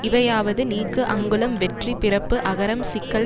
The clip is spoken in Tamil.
இவையாவது நீக்கு அங்குளம் வெற்றி பிறப்பு அகரம் சிக்கல்